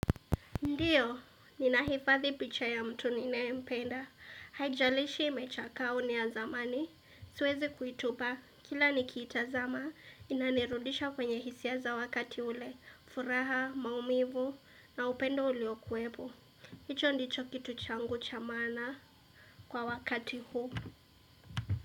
Ndiyo, ninahifadhi picha ya mtu ninayempenda. Haijalishi imechakaa au ni ya zamani. Siwezi kuitupa, kila nikiitazama, inanirudisha kwenye hisia za wakati ule. Furaha, maumivu, na upendo uliokuepo. Hicho ndicho kitu changu cha maana kwa wakati huu.